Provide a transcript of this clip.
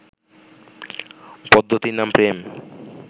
পদ্ধতির নাম প্রেম